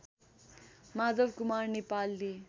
माधवकुमार नेपालले